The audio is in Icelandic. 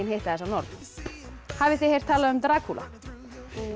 hitta þessa norn hafið þið heyrt talað um Drakúla